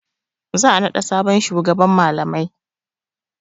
Za a naɗa sabon shugaban malamai.